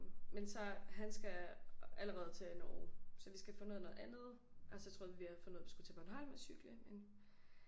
Men så han skal allerede til Norge så vi skal have fundet ud af noget andet og så troede vi vi havde fundet ud af vi skulle til Bornholm og cykle men